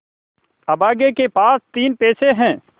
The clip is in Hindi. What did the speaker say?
अभागे के पास तीन पैसे है